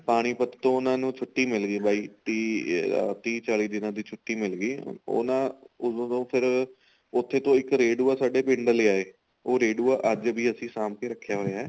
ਪਾਣੀ ਪਤ ਤੋਂ ਉਹਨਾ ਨੂੰ ਛੁੱਟੀ ਬਾਈ ਤੀਹ ਤੀਹ ਚਾਲੀ ਦਿਨਾ ਦੀ ਛੁੱਟੀ ਮਿਲਗੀ ਉਹ ਨਾ ਉਦੋਂ ਤੋਂ ਫੇਰ ਉੱਥੋ ਤੋਂ ਇੱਕ ਰੇਡੁਆ ਸਾਡੇ ਪਿੰਡ ਲੈ ਆਏ ਉਹ ਰੇਡੁਆ ਅੱਜ ਵੀ ਅਸੀਂ ਸਾਂਬ ਕੇ ਰਖਿਆ ਹੋਇਆ